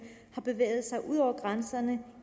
har bevæget sig ud over grænserne